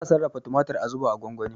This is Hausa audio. Ana sarrafa tumatir a zuba a gwangwani.